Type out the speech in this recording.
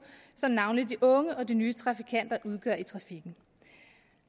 som navnlig de unge og de nye trafikanter udgør i trafikken